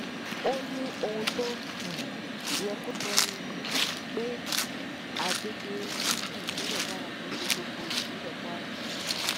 ó ní ohun tó um yẹ kó sọ ni um pé àgbègbè gúúsù ìpínlẹ kwara kì í ṣe gbogbo ìpínlẹ kwara